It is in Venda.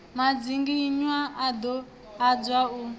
madzinginywa a ḓo adzwa u